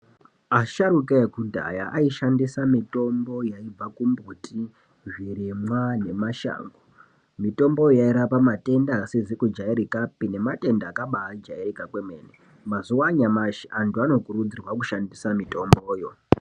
Asharuka ekudhaya aishandisa mutombo yaibva kumbuti, zvirimwa nemashango. Mutombo yo yairapa matenda asizi kujairikapi nematenda akabaajairika kwemene. Mazuwa anyamashi antu vanokurudzirwa kushandisa mitombo yo.